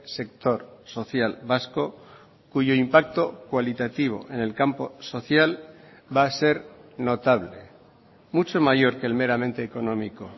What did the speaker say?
sector social vasco cuyo impacto cualitativo en el campo social va a ser notable mucho mayor que el meramente económico